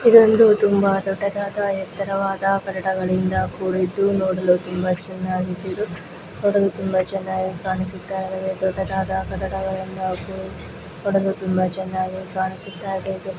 ಇದು ತುಂಬಾ ದೊಡ್ಡದಾದ ಎತ್ತರವಾದ ಕಟ್ಟಡಗಳಿಂದ ಕೂಡಿದ್ದು ನೋಡಲು ತುಂಬಾ ಚೆನ್ನಾಗಿದ್ದು ನೋಡಲು ತುಂಬಾ ಚೆನ್ನಾಗಿ ಕಾಣಿಸುತ್ತಾ ಇದೆ ದೊಡ್ಡದಾದ ಕಟ್ಟಡಗಳಿಂದ ಕೂಡಿದ್ದು ನೋಡಲು ತುಂಬಾ ಚೆನ್ನಾಗಿ ಕಾಣಿಸುತ್ತಾ ಇದೆ.